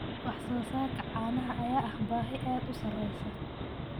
Wax soo saarka caanaha ayaa ah baahi aad u sareysa.